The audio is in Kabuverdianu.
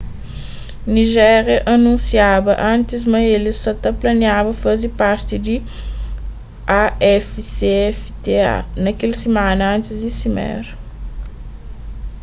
nijéria anunsiaba antis ma el sa ta planiaba faze parti di afcfta na kel simana antis di simera